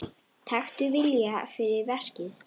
Taktu viljann fyrir verkið.